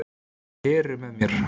Heru með mér.